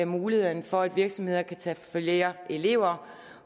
mulighederne for at virksomheder kan tage flere elever